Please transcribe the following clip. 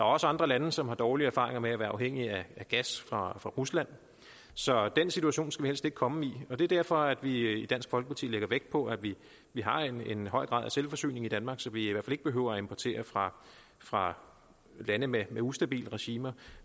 også andre lande som har dårlige erfaringer med at være afhængige af gas fra fra rusland så den situation skal vi helst ikke komme i det er derfor vi i dansk folkeparti lægger vægt på at vi har en høj grad af selvforsyning i danmark så vi i hvert fald ikke behøver at importere fra fra lande med ustabile regimer